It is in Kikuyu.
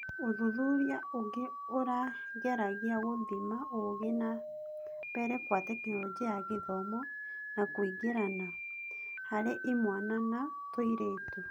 ũthuthuria ũgĩ ũrageragia gũthima gũthiĩ nambere kwa Tekinoronjĩ ya Gĩthomo na kũingĩrana. Harĩ imwana na tũirĩtu.